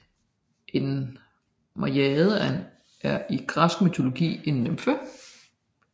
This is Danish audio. En najade er i græsk mytologi en nymfe